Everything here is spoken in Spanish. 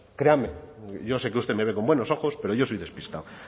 créanme yo sé que usted me ve con buenos ojos pero yo soy despistado